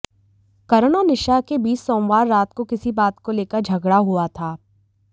करन और निशा के बीच सोमवार रात को किसी बात को लेकर झगड़ा हुआ था